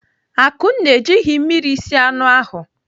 Akunna ejighị mmiri sie anụ ahụ.